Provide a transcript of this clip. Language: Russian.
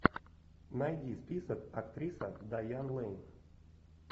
найди список актриса дайан лэйн